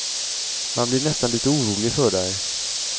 Man blir nästan lite orolig för dig.